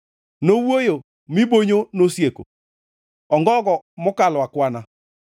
Nowuoyo, mi bonyo nosieko, ongogo mokalo akwana;